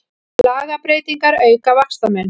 Lagabreytingar auka vaxtamun